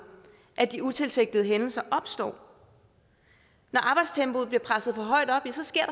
at de utilsigtede hændelser opstår når arbejdstempoet bliver presset for højt op ja så sker